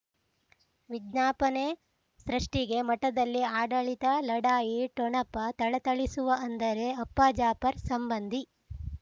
ವಿಜ್ಞಾಪನೆ ಸೃಷ್ಟಿಗೆ ಮಠದಲ್ಲಿ ಆಡಳಿತ ಲಢಾಯಿ ಠೊಣಪ ಥಳಥಳಿಸುವ ಅಂದರೆ ಅಪ್ಪ ಜಾಫರ್ ಸಂಬಂಧಿ